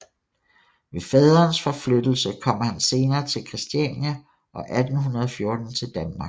Ved faderens forflyttelse kom han senere til Christiania og 1814 til Danmark